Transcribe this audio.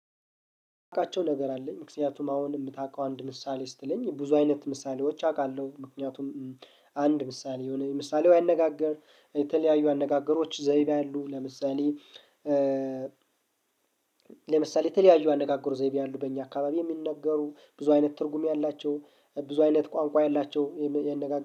እቃቸው ነገር አለኝ። ምክንያቱም አሁን የምታውቀው አንድ ምሳሌ ስትለኝ ብዙ አይነት ምሳሌዎች አውቃለሁ። ምክንያቱም አንድ ምሳሌ የሆነ የምሳሌያው አነጋገር የተለያዩ አነጋገሮች ዘይቤ አሉ። ለምሳሌ ተለያይ ያነጋገሩ ዘይቤ ያሉ በእኛ አካባቢ የሚነገሩ ብዙ አይነት ትርጉም ያላቸው። ብዙ አይነት ቋንቋ የላቸው የነገ